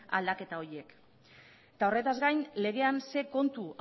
aldaketa horiek eta horretaz gain legean ze kontu